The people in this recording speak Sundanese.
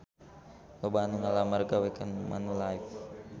Loba anu ngalamar gawe ka Manulife